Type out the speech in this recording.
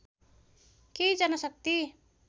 केही जनशक्ति